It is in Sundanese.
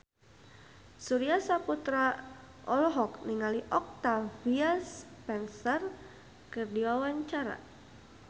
Surya Saputra olohok ningali Octavia Spencer keur diwawancara